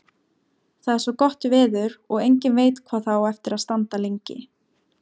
Það er svo gott veður og enginn veit hvað það á eftir að standa lengi.